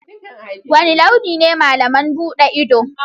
Wane launi ne malam buɗe ido?